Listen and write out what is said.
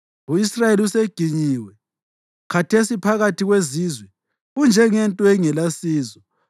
U-Israyeli useginyiwe; khathesi phakathi kwezizwe unjengento engelasizo.